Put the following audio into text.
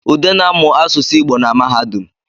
Ude na-amụ aụsụ Igbo na mahadum